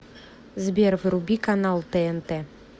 сбер вруби канал тнт